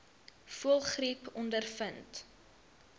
voëlgriep ondervind